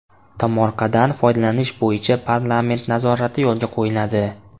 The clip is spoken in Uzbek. Tomorqadan foydalanish bo‘yicha parlament nazorati yo‘lga qo‘yiladi.